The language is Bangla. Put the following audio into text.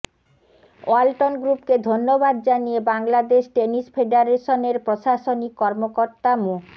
ওয়ালটন গ্রুপকে ধন্যবাদ জানিয়ে বাংলাদেশ টেনিস ফেডারেশনের প্রশাসনিক কর্মকর্তা মো